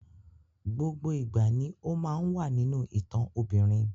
Gbogbo ìgbà ni ó máa ń wà nínú ìtàn obìnrin